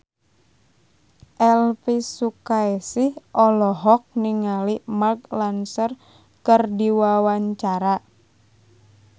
Elvy Sukaesih olohok ningali Mark Ronson keur diwawancara